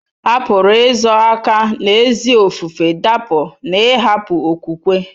A pụrụ izo aka n'ezi ofufe dapụ n'ịhapụ okwukwe.